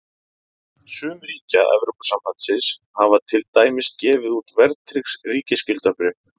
Sum ríkja Evrópusambandsins hafa til dæmis gefið út verðtryggð ríkisskuldabréf.